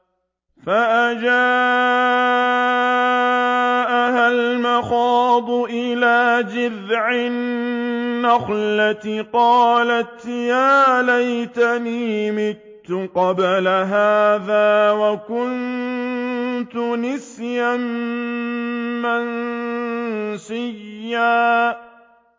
فَأَجَاءَهَا الْمَخَاضُ إِلَىٰ جِذْعِ النَّخْلَةِ قَالَتْ يَا لَيْتَنِي مِتُّ قَبْلَ هَٰذَا وَكُنتُ نَسْيًا مَّنسِيًّا